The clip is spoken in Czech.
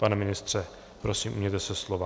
Pane ministře, prosím, ujměte se slova.